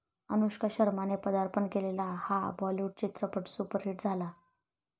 अनुष्का शर्माने पदार्पण केलेला हा बॉलीवूड चित्रपट सुपरहिट झाला